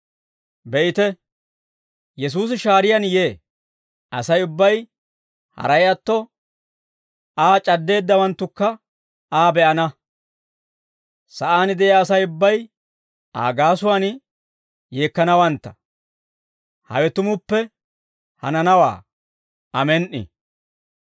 Be'ite, Yesuusi shaariyaani yee. Asay ubbay, haray atto, Aa c'addeeddawanttukka, Aa be'ana; sa'aan de'iyaa Asay ubbay, Aa gaasuwaan yeekkanawantta. Hawe tumuppe hananawaa. Amen"i.